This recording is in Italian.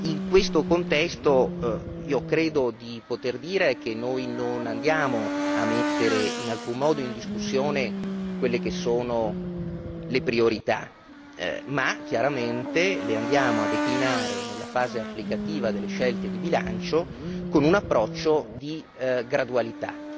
In questo contesto credo di poter dire che non andiamo a mettere in alcun modo in discussione quelle che sono le priorità, ma chiaramente le andiamo a declinare nella fase applicativa delle scelte di bilancio con un approccio di gradualità.